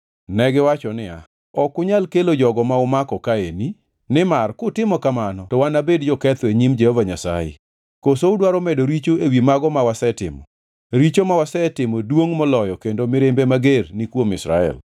Negiwacho niya, “Ok unyal kelo jogo ma umako kaeni, nimar kutimo kamano to wanabed joketho e nyim Jehova Nyasaye. Koso udwaro medo richo ewi mago ma wasetimo? Richo ma wasetimo duongʼ moloyo kendo mirimbe mager ni kuom Israel.”